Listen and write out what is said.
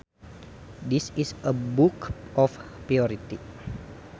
This is a book of poetry